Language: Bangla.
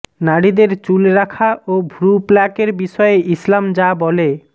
নারীদের চুল রাখা ও ভ্রু প্লাকের বিষয়ে ইসলাম যা বলে